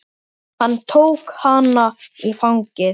Hann tók hana í fangið.